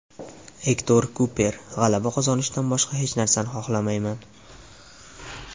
Ektor Kuper: G‘alaba qozonishdan boshqa hech narsani xohlamayman.